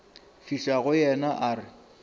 fihla go yena a re